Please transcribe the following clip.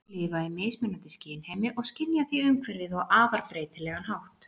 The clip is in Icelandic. Dýr lifa í mismunandi skynheimi og skynja því umhverfið á afar breytilegan hátt.